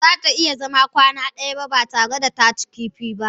Ba za ta iya zama kwana ɗaya ba tare da ta cin kifi ba.